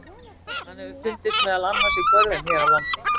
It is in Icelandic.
Hann hefur fundist meðal annars í görðum hér á landi.